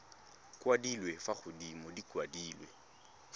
kwadilwe fa godimo di kwadilwe